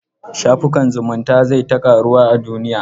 Shafukan zumunta zai ta ƙaruwa a duniya.